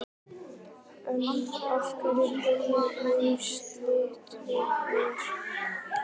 En af hverju koma haustlitirnir?